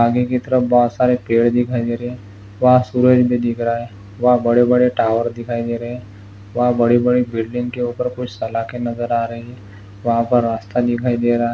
आगे की तरफ बहुत सारे पेड़ दिखाई दे रहे है वहा सूरज भी दिख रहा है वह बड़े बड़े टावर भी दिखाई दे रहे वहा बड़े बड़े बिल्डिंग के ऊपर कुछ सलाके नजर आ रही है वह पर रस्ता दिखाई दे रहा है।